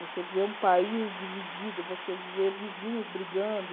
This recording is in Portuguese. Você vê um país dividido, você vê vizinhos brigando.